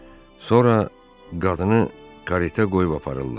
Sonra qadını karetə qoyub aparırlar.